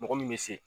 Mɔgɔ min bɛ se